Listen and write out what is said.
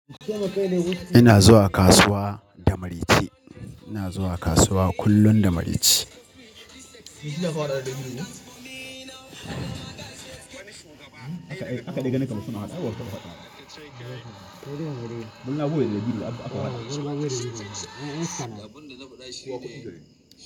Ina zuwa kasuwa da mari ce. Ina zuwa kasuwa kullum da mari ce.